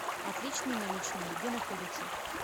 отличные наличные где находится